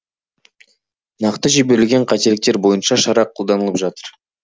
нақты жіберілген қателіктер бойынша шара қолданылып жатыр